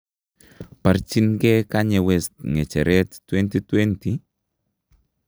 Barchin kee Kanye West ng'echeret 2020?